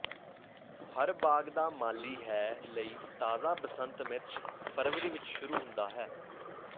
ਹਰ ਬਾਗ ਦਾ ਮਾਲੀ ਹੈ ਲਈ ਤਾਜ਼ਾ ਬਸੰਤ ਮਿਰਚ ਫਰਵਰੀ ਵਿਚ ਸ਼ੁਰੂ ਹੁੰਦਾ ਹੈ